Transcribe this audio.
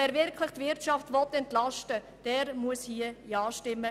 Wer die Wirtschaft wirklich entlasten will, muss hier Ja stimmen.